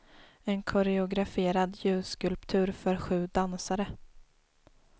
En koreograferad ljusskulptur för sju dansare.